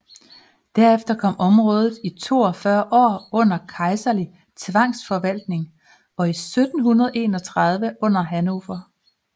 Derefter kom området i 42 år under kejserlig tvangsforvaltning og 1731 under Hannover